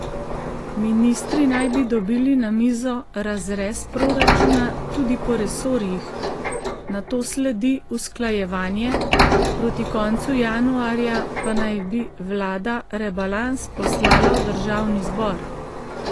Ministri naj bi dobili na mizo razrez proračuna tudi po resorjih, nato sledi usklajevanje, proti koncu januarja pa naj bi vlada rebalans poslala v državni zbor.